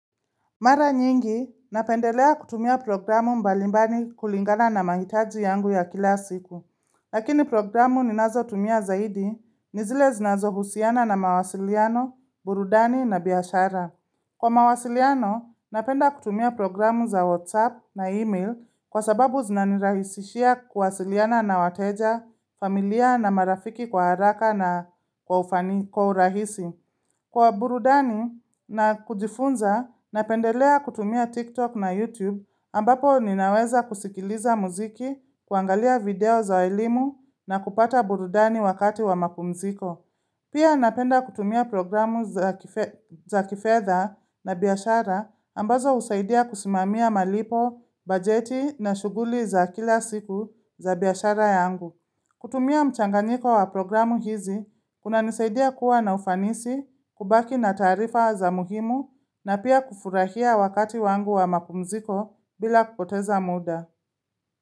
Mara nyingi, napendelea kutumia programu mbali mbali kulingana na mahitaji yangu ya kila siku Lakini programu ninazotumia zaidi, ni zile zinazohusiana na mawasiliano, burudani na biashara. Kwa mawasiliano, napenda kutumia programu za WhatsApp na email kwa sababu zinanirahisishia kuwasiliana na wateja, familia, na marafiki kwa haraka na kwa urahisi. Kwa burudani na kujifunza, napendelea kutumia TikTok na YouTube ambapo ninaweza kusikiliza muziki, kuangalia video za elimu na kupata burudani wakati wa mapumziko. Pia napenda kutumia programu za kifedha, na biashara ambazo husaidia kusimamia malipo, bajeti na shughuli za kila siku za biashara yangu. Kutumia mchanganiko wa programu hizi, kunanisaidia kuwa na ufanisi, kubaki na taarifa za muhimu na pia kufurahia wakati wangu wa mapumziko bila kupoteza muda.